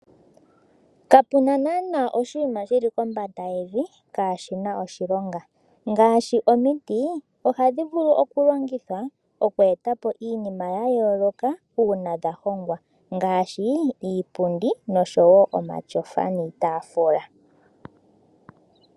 Kapena naana oshinima shili kombanda yevi kaashina oshilonga ngaashi omiti ohadhi vulu okulongithwa okweetapo iinima yayooloka uuna dhahongwa ngaashi iipundi, omatyofa niitaafula.